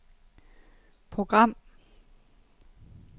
program